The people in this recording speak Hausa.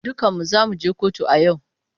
Dukanmu za mu je kotu a yau.